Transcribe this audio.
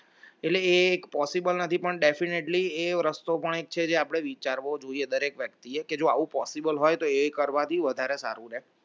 એટલે એ possible નથી પણ definitely એ રસ્તો પણ જ છે જે આપણે વિચારવું જોઈએ દરેક વ્યક્તિએ કે જો આવું possible હોય તો એ કરવાથી વધારે સારું રહે